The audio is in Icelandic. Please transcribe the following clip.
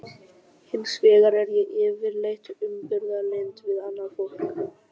Hins vegar er ég yfirleitt umburðarlynd við annað fólk.